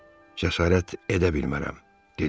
Cəsarət edə bilmərəm, dediz.